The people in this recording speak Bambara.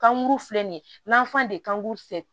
Kankuru filɛ nin ye n'an fan de kan se